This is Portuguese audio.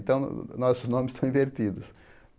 Então, nossos nomes estão invertidos.